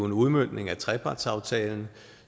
en udmøntning af trepartsaftalen